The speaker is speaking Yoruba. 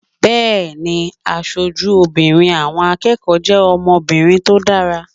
Bẹ́ẹ̀ni, aṣojú obìnrin àwọn akẹ́kọ̀ọ́ jẹ́ ọmọbìnrin tó dára